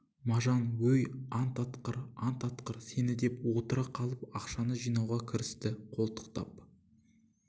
мажан өй ант атқыр ант атсын сені деп отыра қалып ақшасын жинауға кірісті қолтықтап